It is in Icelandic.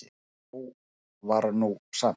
Nóg var nú samt.